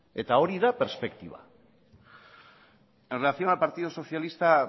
eta hori da perspektiba en relación al partido socialista